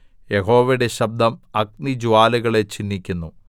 യഹോവയുടെ ശബ്ദം അഗ്നിജ്വാലകളെ ചിന്നിക്കുന്നു